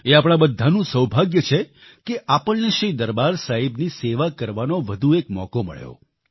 એ આપણા બધાનું સૌભાગ્ય છે કે આપણને શ્રી દરબાર સાહિબની સેવા કરવાનો વધુ એક મોકો મળ્યો